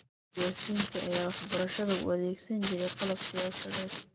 Siyaasiyiinta ayaa waxbarashada u adeegsan jiray qalab siyaasadeed.